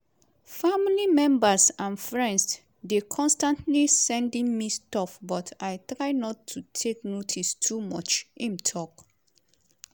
"family members and friends dey constantly sending me stuff but i try not to take notice too much" im tok.